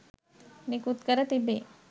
නිකුත් කර තිබේ.